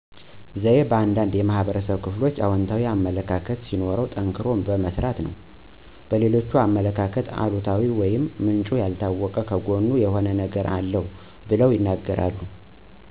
ዘዬ በአንዳንድ የህብረተሰብ ክፍሎች አወንታዊ አመለካከት ሲሆን ጠንክሮ በመስራት ነው። በሌሎች አመለካከት አሉታዊ ወይም ምንጭ ያልታወቀ ከጎኑ የሆነ ነገር አለዉ ብለው ይናገራሉ።